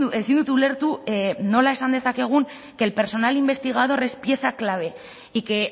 ezin dut ulertu nola esan dezakegun que el personal investigador es pieza clave y que